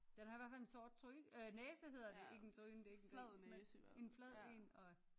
Den har i hvert fald en sort tryne eller næse hedder det ikke en tryne det er ikke en gris men en flad en og